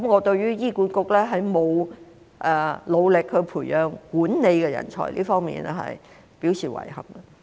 對於醫管局未有努力培養管理人才，我表示遺憾。